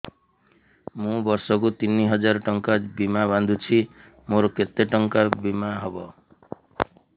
ମୁ ବର୍ଷ କୁ ତିନି ହଜାର ଟଙ୍କା ବୀମା ବାନ୍ଧୁଛି ମୋର କେତେ ଟଙ୍କାର ବୀମା ହବ